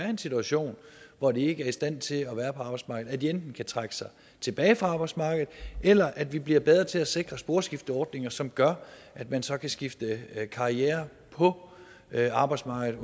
en situation hvor de ikke er i stand til at være på arbejdsmarkedet enten kan trække sig tilbage fra arbejdsmarkedet eller at vi bliver bedre til at sikre sporskifteordninger som gør at man så kan skifte karriere på arbejdsmarkedet